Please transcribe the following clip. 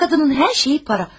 O qadının hər şeyi puldur.